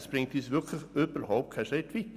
Dies bringt uns überhaupt keinen Schritt weiter.